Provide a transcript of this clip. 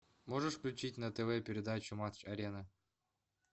можешь включить на тв передачу матч арена